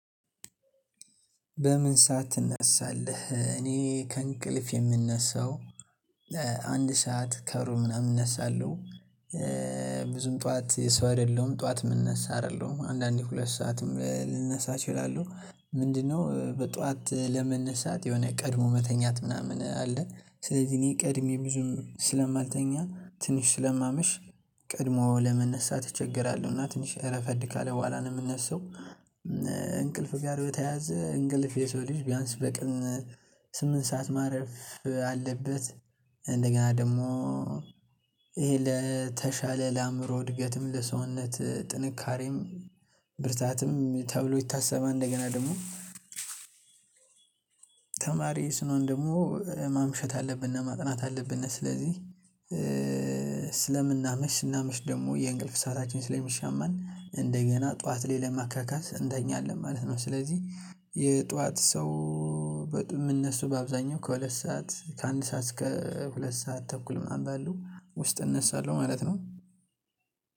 በምን ሰዓት ትነሳለህ? እኔ ከእንቅልፍ የምነሳው አንድ ሰዓት ከሩ ምናምን እነሳለሁ። ብዙም ጠዋት ሰው አይደለሁም ጠዋት የምነሳ አይደለሁም አንዳንዴ ሁለት ሰዓትም ልነሳ አችላለሁ ምንድነው በጧት ለመነሳት የሆነ ቀድሞ መተኛት ምናምን አለ ስለዚህ እኔ ቀድሜ ብዙም ስለማልተኛ ትንሽ ስለማመሽ ቀድሞ ለመነሳት እቸገራሉ እና ትንሽ ረፈድ ካለ በኋላ ነው የምነሳው። እንቅልፍ ጋር በተያያዘ እንቅልፍ የሰው ልጅ ቢያንስ በቀን ስምንት ሰዓት ማረፍ አለበት። እንደገና ደግሞ ይሄ ለተሻለ ለአእምሮ እድገትም ለሰውነት ጥንካሬም ብርታትም ተብሎ ይታሰባል። እንደገና ደግሞ ተማሪ ስንሆን ደግሞ ማምሸት አለብነ ማጥናት አለብነ ስለዚህ ስለምናመሽ ስናመሽ ደግሞ የእንቅልፍ ሰዓታችን ስለሚሻማን እንደገና ጠዋት ላይ ለማካካስ እንተኛ አለን ማለት ነው። ስለዚህ የጠዋት ሰው እሚነሳው በአብዛኛው ከሁለት ሰዓት ከአንድ ሰዓት እስከ ሁለት ሰዓት ተኩል ምናምን ባለው ውስጥ እነሳለሁ ማለት ነው።